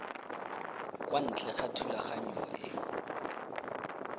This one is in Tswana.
kwa ntle ga thulaganyo e